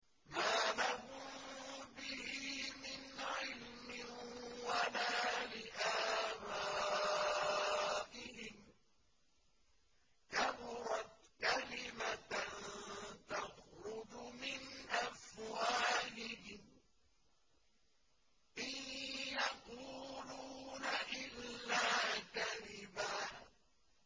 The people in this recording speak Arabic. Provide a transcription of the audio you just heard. مَّا لَهُم بِهِ مِنْ عِلْمٍ وَلَا لِآبَائِهِمْ ۚ كَبُرَتْ كَلِمَةً تَخْرُجُ مِنْ أَفْوَاهِهِمْ ۚ إِن يَقُولُونَ إِلَّا كَذِبًا